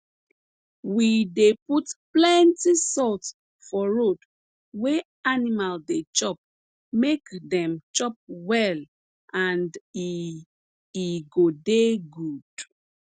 we dey put plenti salt for road wey animal dey chop make dem chop well and e e go dey good